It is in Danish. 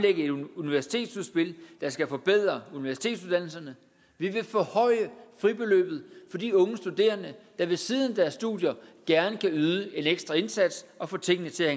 et universitetsudspil der skal forbedre universitetsuddannelserne vi vil forhøje fribeløbet for de unge studerende der ved siden af deres studier gerne vil yde en ekstra indsats og få tingene til at